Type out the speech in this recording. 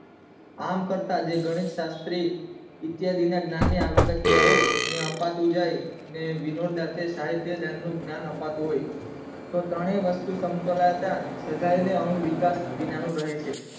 આમ કરતા જે ગણેશ શાસ્ત્રી ઈતીયાદી ને જ્ઞાન ને આવશક્ય હોય ને અપાતું જાય ને વિનોર દાંતે સાહિત્ય જ્ઞાને અપાતું હોય તો ત્રણેય વસ્તુ સમતોલ આકાર સદાય ને અંગવિકાસ વગર નું રહે છે